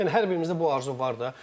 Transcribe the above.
Yəni hər birimizdə bu arzu var da.